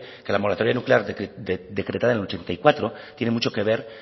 que la moratoria nuclear decretada en el ochenta y cuatro tiene mucho que ver